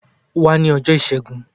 Wá ní ọjọ́ọ ìṣẹ́gun.